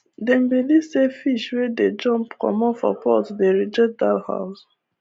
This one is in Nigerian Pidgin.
dem believe say fish wey dey jump comot for pot dey reject dat house